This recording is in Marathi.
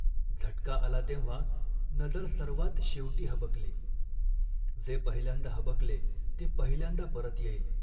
झटका आला तेव्हा नजर सर्वांत शेवटी हबकली. जे पहिल्यांदा हबकले ते पहिल्यांदा परत येईल